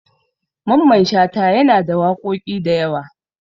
Mamman Shata yana da waƙoƙi da yawa.